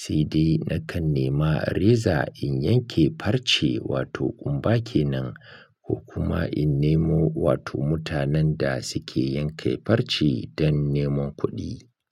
Sai dai nakan nema reza in yanke farce wato kumba ke nan ko kuma in nemo wato mutanen da suke yanke farce don neman kuɗi.